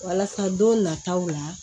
Walasa don nataw la